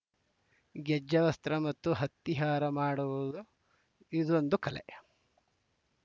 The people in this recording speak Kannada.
ಗೆಜ್ಜೆವಸ್ತ್ರ ಮತ್ತು ಹತ್ತಿಹಾರ ಮಾಡುವುದು ಇದೊಂದು ಕಲೆ